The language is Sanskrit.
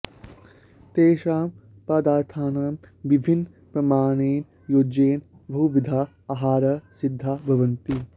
तेषां पदार्थानां विभिन्नप्रमाणेन योजनेन बहुविधाः आहाराः सिद्धाः भवन्ति